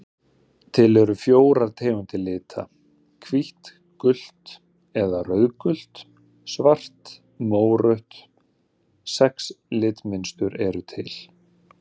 Til eru fjórar tegundir lita: hvítt gult eða rauðgult svart mórautt Sex litmynstur eru til.